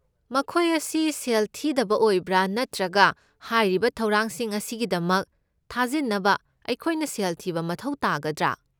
ꯃꯈꯣꯏ ꯑꯁꯤ ꯁꯦꯜ ꯊꯤꯗꯕ ꯑꯣꯏꯕ꯭ꯔꯥ ꯅꯠꯇ꯭ꯔꯒ ꯍꯥꯏꯔꯤꯕ ꯊꯧꯔꯥꯡꯁꯤꯡ ꯑꯁꯤꯒꯤꯗꯃꯛ ꯊꯥꯖꯤꯟꯅꯕ ꯑꯩꯈꯣꯏꯅ ꯁꯦꯜ ꯊꯤꯕ ꯃꯊꯧ ꯇꯥꯒꯗ꯭ꯔꯥ?